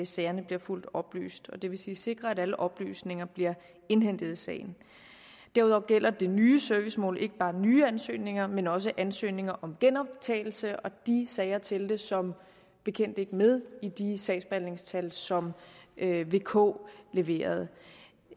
sagerne bliver fuldt oplyst det vil sige sikre at alle oplysninger bliver indhentet i sagen derudover gælder det nye servicemål ikke bare nye ansøgninger men også ansøgninger om genoptagelse og de sager talte som bekendt ikke med i de sagsbehandlingstal som vk leverede